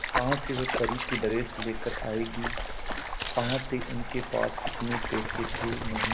कहां से वह परी की ड्रेस लेकर आएगी कहां थे उनके पास इतने पैसे थे नही